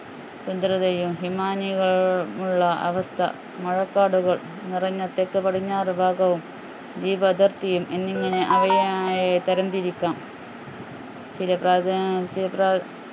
ഹിമാനികളും ഉള്ള അവസ്ഥ മഴക്കാടുകൾ നിറഞ്ഞ തെക്ക് പടിഞ്ഞാറ് ഭാഗവും വിവിധ എന്നിങ്ങനെ അവയെ ആഹ് തരം തിരിക്കാം